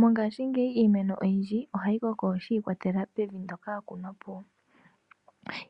Mongashingeyi iimeno oyindji ohayi koko shiikwatelela kevi ndoka ya kunwapo.